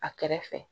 A kɛrɛfɛ